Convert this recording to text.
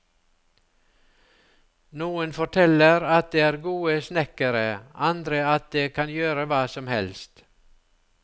Noen forteller at de er gode snekkere, andre at de kan gjøre hva som helst.